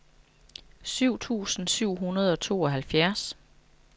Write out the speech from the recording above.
syv tusind syv hundrede og tooghalvfjerds